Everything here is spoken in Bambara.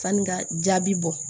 Sani ka jaabi bɔ